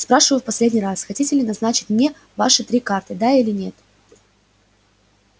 спрашиваю в последний раз хотите ли назначить мне ваши три карты да или нет